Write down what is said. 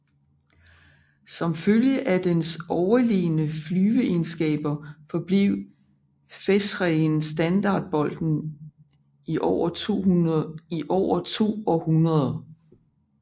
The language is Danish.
Som følge af dens overlegne flyveegenskaber forblev featherien standard bolden i over 2 århundreder